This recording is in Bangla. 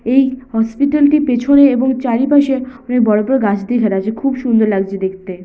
এই হসপিটাল -টির পিছনে এবং চারিপাশে অনেক বড় বড় গাছ দিয়ে ঘেরা আছে খুব সুন্দর লাগছে দেখতে ।